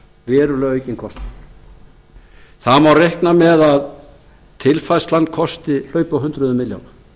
verulega aukinn kostnaður það má reikna með að tilfærslan hlaupi á hundruðum milljóna